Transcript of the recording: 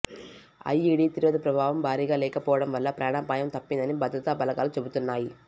IED తీవ్రత ప్రభావం భారీగా లేకపోవడం వల్ల ప్రాణాపాయం తప్పిందని భద్రతా బలగాలు చెబుతున్నాయి